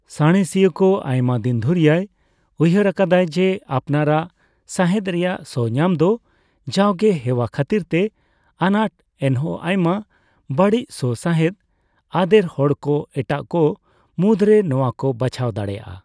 ᱥᱟᱬᱮᱥᱤᱭᱟᱹᱠᱚ ᱟᱭᱢᱟ ᱫᱤᱱ ᱫᱷᱩᱨᱤᱭᱟᱭ ᱩᱭᱦᱟᱹᱨ ᱟᱠᱟᱫᱟᱭ ᱡᱮ ᱟᱯᱱᱟᱨᱟᱜ ᱥᱟᱸᱦᱮᱫ ᱨᱮᱭᱟᱜ ᱥᱚ ᱧᱟᱢᱫᱚ ᱡᱟᱣᱜᱮ ᱦᱮᱣᱟ ᱠᱷᱟᱹᱛᱤᱨᱛᱮ ᱟᱱᱟᱴ, ᱮᱱᱦᱚᱸ ᱟᱭᱢᱟ ᱵᱟᱹᱲᱤᱡ ᱥᱚ ᱥᱟᱸᱦᱮᱫ ᱟᱫᱮᱨ ᱦᱚᱲᱠᱚ ᱮᱴᱟᱜᱠᱚ ᱢᱩᱫᱽᱨᱮ ᱱᱚᱣᱟ ᱠᱚ ᱵᱟᱪᱷᱟᱣ ᱫᱟᱲᱮᱭᱟᱜ ᱟ ᱾